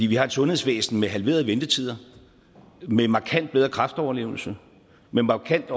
vi har et sundhedsvæsen med halverede ventetider med markant bedre kræftoverlevelse med markant